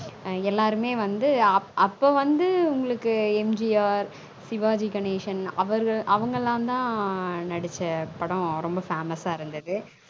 an எல்லாருமே வந்து அப்பொ வந்து உங்களுக்கு M G R Sivaji Ganesan அவர்க அவங்களான் தான் நடிச்ச படம் ரொம்ப famous அ இருந்தது